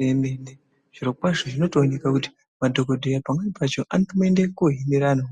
Igwinyiso remene zviro kwazvo zvinotooneka kuti madhokodheya pamweni pacho anotombooenda koohambira antu